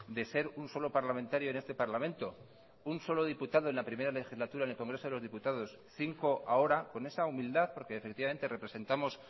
de ser un solo parlamentario en este parlamento un solo diputado en la primera legislatura en el congreso de los diputados cinco ahora con esa humildad porque efectivamente representamos